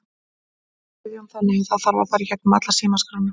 Guðjón: Þannig að það þarf að fara í gegnum alla símaskrána?